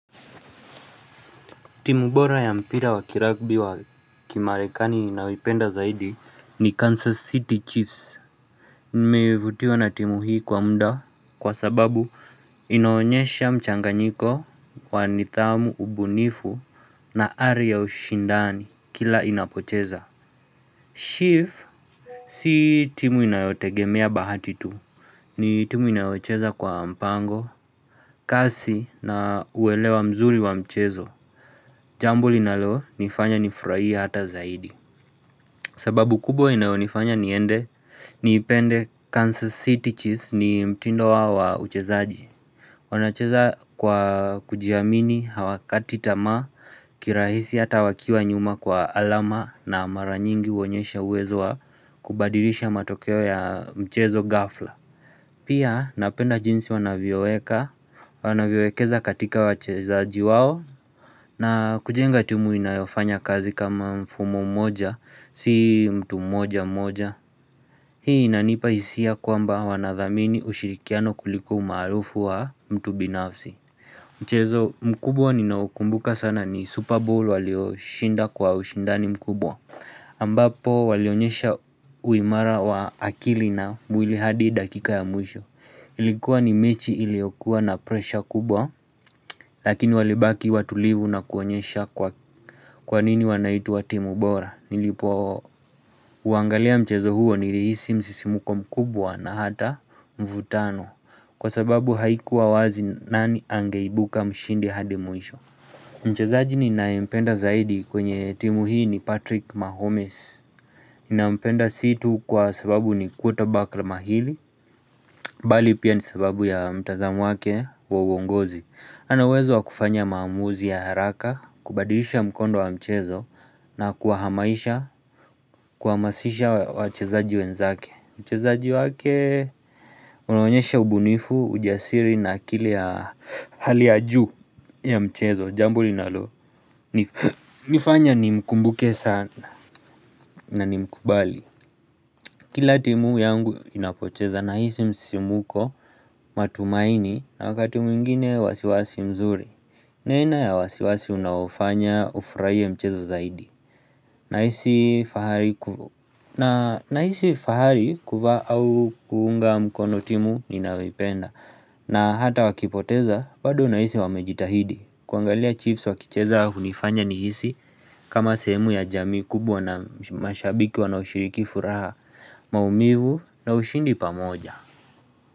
Timu bora ya mpira wa kiragbi wa kimarekani ninayoipenda zaidi ni Kansas City Chiefs Nimevutiwa na timu hii kwa muda kwa sababu inaonyesha mchanganyiko wa nidhamu ubunifu na ari ya ushindani kila inapocheza Chief Si timu inayotegemea bahati tu ni timu inayocheza kwa mpango kasi na uwelewa mzuri wa mchezo Jambo linalo nifanya nifurahie hata zaidi. Sababu kubwa inaonifanya niende niipende Kansas City Chiefs ni mtindo wao wa uchezaji. Wanacheza kwa kujiamini hawakati tamaa, kirahisi hata wakiwa nyuma kwa alama na mara nyingi huonyesha uwezo wa kubadilisha matokeo ya mchezo gafla. Pia napenda jinsi wanavyoweka, wanavyowekeza katika wachezaji wao. Na kujenga tumu inayofanya kazi kama mfumo mmoja, si mtu mmoja mmoja. Hii inanipa hisia kwamba wanadhamini ushirikiano kuliko umaarufu wa mtu binafsi. Mchezo, mkubwa ninaukumbuka sana ni Super Bowl walio shinda kwa ushindani mkubwa. Ambapo walionyesha uimara wa akili na mwili hadi dakika ya mwisho. Ilikuwa ni mechi iliyokuwa na pressure kubwa. Lakini walibaki watulivu na kuonyesha kwa kwanini wanaitwa timu bora Nilipo uangalia mchezo huo nilihisi msisimko mkubwa na hata mvutano Kwa sababu haikuwa wazi nani angeibuka mshindi hadi mwisho Mchezaji ninayempenda zaidi kwenye timu hii ni Patrick Mahomes ninampenda si tu kwa sababu ni quarter back la mahini Bali pia ni sababu ya mtazamu wake wa uongozi Anauwezo wa kufanya maamuzi ya haraka, kubadilisha mkondo wa mchezo na kuwahamaisha kuhamasisha wachezaji wenzake uchezaji wake unaonyesha ubunifu, ujasiri na akili ya hali ya ju ya mchezo Jambo linalo, nifanya ni mkumbuke sana na nimkubali Kila timu yangu inapocheza nahisi msimko matumaini na wakati mwingine wasiwasi mzuri Nena ya wasiwasi unaofanya ufurahie mchezo zaidi nahisi fahari kuvaa au kuunga mkono timu ninayoipenda na hata wakipoteza bado nahisi wamejitahidi kuangalia chiefs wakicheza hunifanya nihisi kama sehemu ya jamii kubwa na mashabiki wanaoshiriki furaha maumivu na ushindi pamoja.